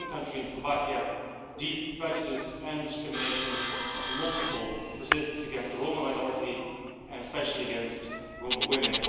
In my own country, in Slovakia, deep prejudice and discrimination, often multiple, persist against the Roma minority, and especially against Roma women.